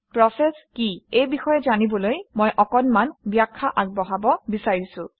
process কি এই বিষয়ে জনাবলৈ মই অকণমান ব্যাখ্যা আগবঢ়াব বিচাৰিছোঁ